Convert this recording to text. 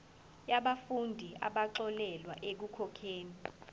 yabafundi abaxolelwa ekukhokheni